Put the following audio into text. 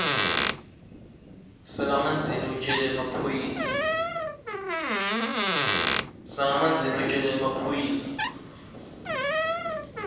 sakamanzini utjele emaphoyisa